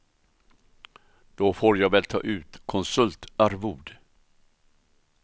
Då får jag väl ta ut konsultarvode.